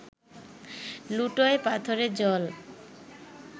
লুটোয় পাথরে জল